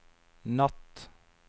natt